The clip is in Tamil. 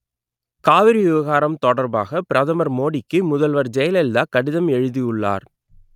காவிரி விவகாரம் தொடர்பாக பிரதமர் மோடிக்கு முதல்வர் ஜெயலலிதா கடிதம் எழுதியுள்ளார்